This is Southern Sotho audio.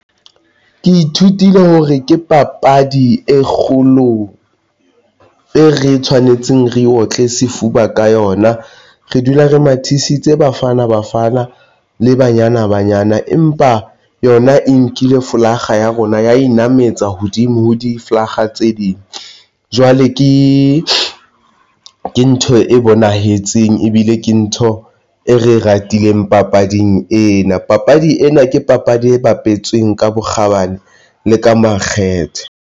Ke ithutile hore ke papadi e kgolo e re e tshwanetseng re otle sefuba ka yona. Re dula re mathisitse Bafana Bafana le Banyana Banyana, empa yona e nkile folakga ya rona ya in nametsa hodimo ho di folakga tse ding. Jwale ke ntho e bonahetseng ebile ke ntho e re e ratileng papading ena. Papadi ena ke papadi e bapetsweng ka bokgabane le ka makgethe.